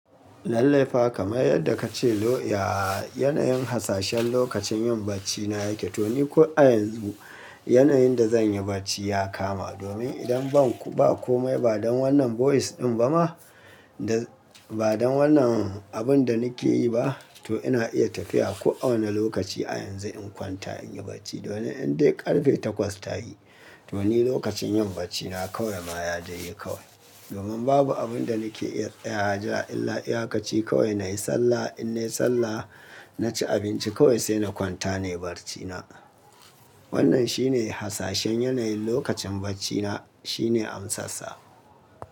Lallai fa kamar yadda kace lo, yaa yanayin hasashen lokacin yin baccina yake. To ni ko a yanzu yanayin da zanyi bacci ya kama domin idan ban ba komai ba dan wannan voice din ba ma da ba dan wannan abun da nake yi ba, to ina iya tafiya ko a wane lokaci a yanzu in kwanta in yi bacci. Domin in dai ƙarfe takwas ta yi, to ni lokacin yin baccina kawai ma ya daiyi kawai. Domin babu abun da nake iya tsayawa jira illa iyakaci kawai nayi sallah. In nayi sallah, naci abinci kawai sai na kwanta nayi barcina. Wannan shine hasashen yanayin lokacin baccina shine amsassa.